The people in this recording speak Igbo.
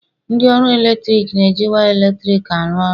ndị ọrụ eletrik na-eji waya eletrik arụ ọrụ